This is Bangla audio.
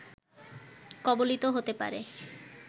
কবলিত হতে পারে